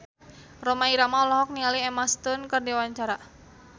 Rhoma Irama olohok ningali Emma Stone keur diwawancara